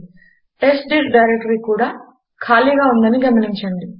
test dir directory కూడా ఖాళీగా ఉందని గమనించండి